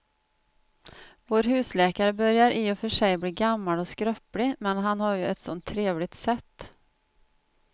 Vår husläkare börjar i och för sig bli gammal och skröplig, men han har ju ett sådant trevligt sätt!